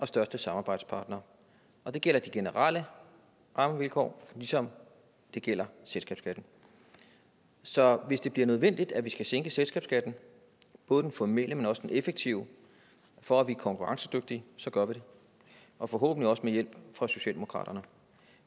største samarbejdspartnere og det gælder de generelle rammevilkår ligesom det gælder selskabsskatten så hvis det bliver nødvendigt at vi sænker selskabsskatten både den formelle men også den effektive for at vi er konkurrencedygtige så gør vi det og forhåbentlig også med hjælp fra socialdemokratiet